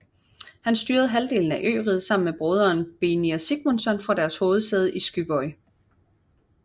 Han styrede halvdelen af øriget sammen med broderen Beinir Sigmundsson fra deres hovedsæde på Skúvoy